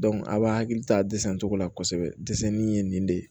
a b'a hakili to a dɛsɛncogo la kosɛbɛ dɛsɛli in ye nin de ye